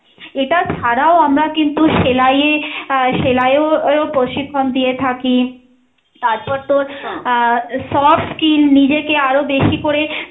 এটা ছাড়াও আমরা কিন্তু সেলাই এ আহ সেলাই এও ও প্রশিক্ষণ দিয়ে থাকি, তারপর তোর আহ soft skin নিজেকে আরও বেশি করে